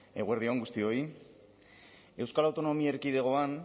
eguerdi on guztioi euskal autonomia erkidegoan